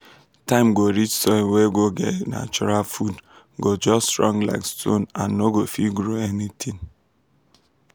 time go reach soil wey no get natural food go just strong like stone and no go fit grow anything.